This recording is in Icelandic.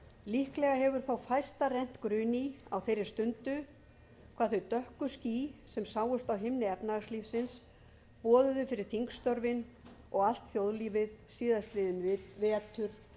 líklega hefur þó fæsta rennt grun í á þeirri stundu hvað þau dökku ský sem sáust á himni efnahagslífsins boðuðu fyrir þingstörfin og allt þjóðlífið síðastliðinn vetur og